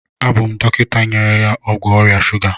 Abụ m dọkịta nyere ya ọgwụ ọrịa shuga.